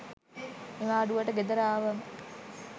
නිවාඩුවට ගෙදර ආවම